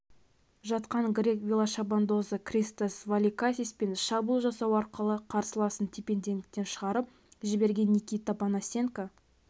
жатқан грек велошабандозы кристос воликакис пен шабуыл жасау арқылы қарсыласын тепе-теңдіктен шығарып жіберген никита панасенко